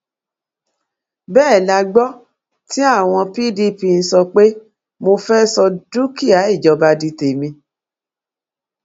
bẹẹ la gbọ tí àwọn pdp ń sọ pé mo fẹẹ sọ dúkìá ìjọba di tèmi